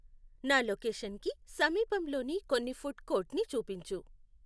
నా లొకేషన్కి సమీపంలోని కొన్ని ఫుడ్ కోర్ట్ని చూపించు